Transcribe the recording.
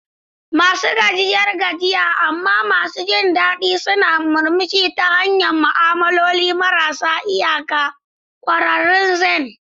Masu gajiyar gajiya amma masu jin daɗi suna murmushi ta hanyar ma'amaloli marasa iyaka, ƙwararrun zen.